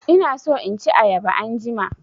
Ina so in ci ayaba anjima.